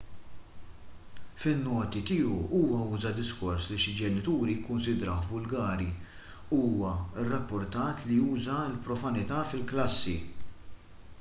fin-noti tiegħu huwa uża diskors li xi ġenituri kkunsidrawh vulgari u huwa rrappurtat li uża l-profanità fil-klassi